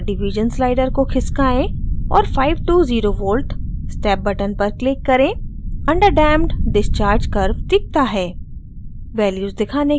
ms/div slider को खिसकाएँ और 5 to 0v step button पर click करें under damped discharge curve दिखता है